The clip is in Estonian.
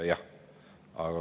Jah.